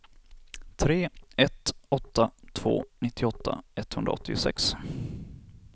tre ett åtta två nittioåtta etthundraåttiosex